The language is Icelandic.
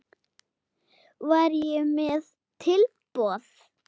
Var ég með tilboð?